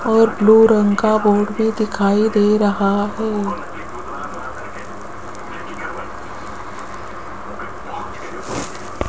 और ब्लू रंग का बोर्ड भी दिखाई दे रहा है।